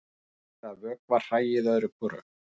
Ágætt er að vökva hræið öðru hvoru.